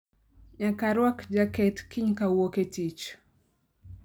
Nyaka arwak jaket kiny ka awuok e tich